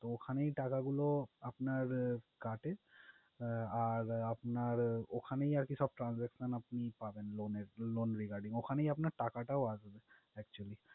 ওখানেই টাকাগুলো আপনার আহ কাটে আহ আর আপনার ওখানেই আরকি সব transactions আপনি পাবেন loan এর loan regurding ওখানেই আপনার টাকাটাও আসবে actually